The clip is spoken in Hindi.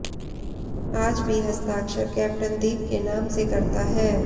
आज भी हस्ताक्षर कैप्टन दीप के नाम से करता है